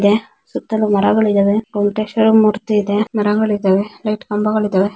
ಇದೆ ಸುತ್ತಲೂ ಮರಗಳಿದ್ದಾವೆ ಗೋಮಟೇಶ್ವರ ಮೂರ್ತಿ ಇದೆ ಮರಗಳಿದ್ದಾವೆ ಲೈಟ್ ಕಂಬಗಳಿದ್ದಾವೆ.